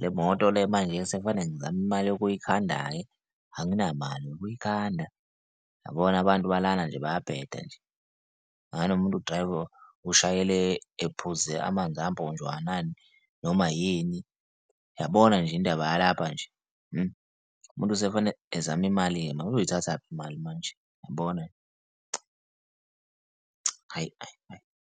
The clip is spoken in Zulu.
le moto le manje sekufane ngizame imali yokuyikhanda-ke anginamali yokuyikhanda, yabona abantu balana nje bayabheda nje angazi noma umuntu udrayiva, ushayela ephuze amanzi amponjwana yini? Noma yini? Yabona nje indaba yalapha nje umuntu sekufanele ezame imali-ke uzoyithathaphi imali manje, yabona, ayi, ayi, ayi.